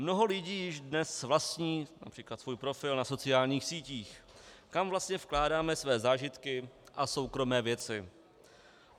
Mnoho lidí již dnes vlastní například svůj profil na sociálních sítích, kam vlastně vkládáme své zážitky a soukromé věci.